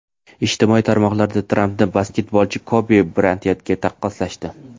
Ijtimoiy tarmoqlarda Trampni basketbolchi Kobi Brayantga taqqoslashdi.